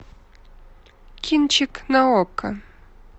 кинчик на окко